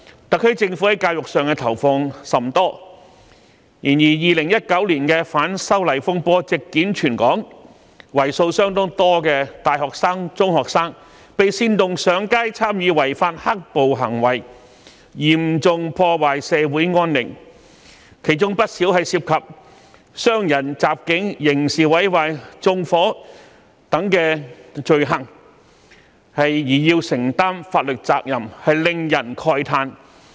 特區政府在教育方面投放甚多資源，但2019年的反修例風波席捲全港，為數甚多的大學生、中學生被煽動上街參與違法"黑暴"行為，嚴重破壞社會安寧，其中不少人涉及傷人、襲警、刑事毀壞、縱火等罪行，須承擔法律責任，令人慨嘆。